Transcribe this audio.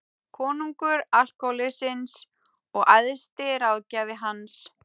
Konungur alkóhólsins og æðsti ráðgjafi hans.